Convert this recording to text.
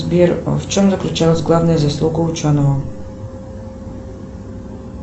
сбер в чем заключалась главная заслуга ученого